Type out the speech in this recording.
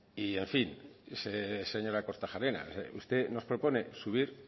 y en fin señora kortajarena usted nos propone subir